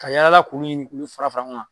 Ka yala yala k'olu ɲini k'olu fara fara ɲɔgɔn kan